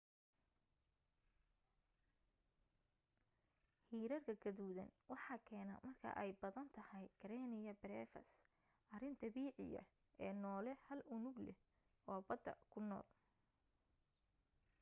hirarka gaduudan waxaa keena marka ay badan tahay karenia brevis arrin dabiiciya ee noole hal unugle oo badda ku nool